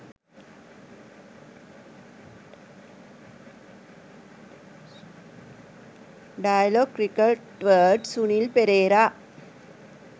dialog cricket word sunil perera